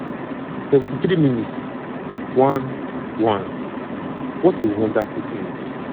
73 mins - 1 - 1 what a wonderful finish!